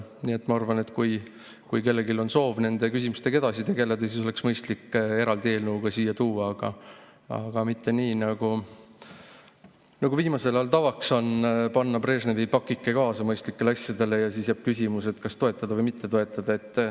Nii et ma arvan, et kui kellelgi on soov nende küsimustega edasi tegeleda, siis oleks mõistlik need eraldi eelnõuga siia tuua, aga mitte nii, nagu viimasel ajal tavaks on, panna Brežnevi pakike kaasa mõistlikele asjadele ja siis jääb küsimus, kas toetada või mitte toetada.